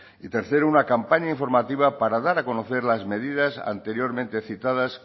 y tercero una campaña informativa para dar a conocer las medidas anteriormente citadas